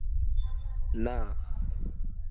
નાં